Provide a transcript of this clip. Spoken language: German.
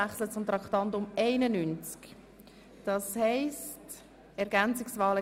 Beachten Sie bitte, dass das Datum auf dem Wahlzettel nicht aufgeführt ist.